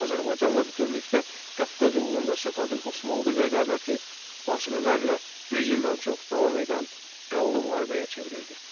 Azərbaycan və bütövlükdə Qafqaz uğrunda Səfəvi-Osmanlı rəqabəti fasilələrlə 100 ildən çox davam edən qanlı müharibəyə çevrildi.